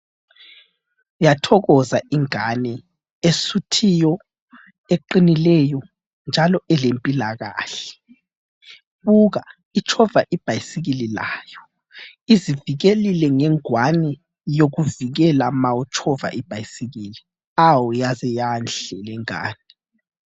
Yathokoza ingane esuthiyo, eqinileyo njalo elempilakahle. Buka itshova ibhayisikili layo ,izivikelile ngengwane yokuvikela ma utshova ibhayisikili. Hawu yaze yanhle lengane.